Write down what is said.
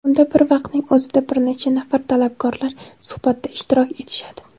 unda bir vaqtning o‘zida bir necha nafar talabgorlar suhbatda ishtirok etishadi.